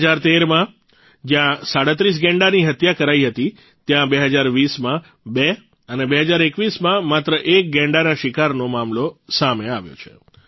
૨૦૧૩માં જયાં ૩૭ ગેંડાની હત્યા કરાઇ હતી ત્યાં ૨૦૨૦માં ૨ અને ૨૦૨૧માં માત્ર ૧ ગૈંડાના શિકારનો મામલો સામે આવ્યો છે